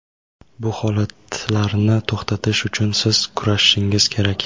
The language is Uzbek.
Bu holatlarni to‘xtatish uchun siz kurashishingiz kerak.